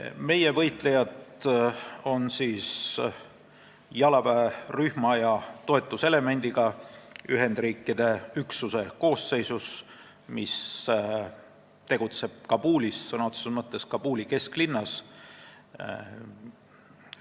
Meie võitlejad on jalaväerühma ja toetuselemendiga Ühendkuningriigi üksuse koosseisus, mis tegutseb Kabulis, sõna otseses mõttes Kabuli kesklinnas.